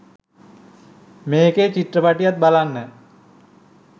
මේකේ චිත්‍රපටියත් බලන්න.